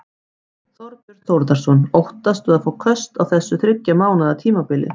Þorbjörn Þórðarson: Óttastu að fá köst á þessu þriggja mánaða tímabili?